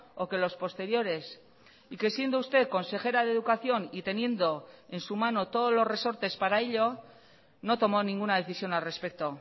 o que los posteriores y que siendo usted consejera de educación y teniendo en su mano todos los resortes para ello no tomó ninguna decisión al respecto